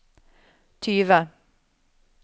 tyve